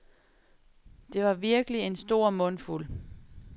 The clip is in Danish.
Det var virkelig en stor mundfuld.